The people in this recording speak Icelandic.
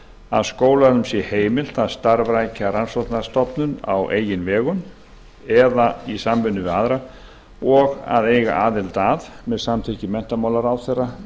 að skólanum sé heimilt að starfrækja rannsóknastofnun á eigin vegum eða í samvinnu við aðra og eiga aðild að með samþykki menntamálaráðherra